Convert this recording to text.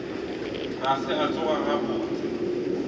ga se a tsoga gabotse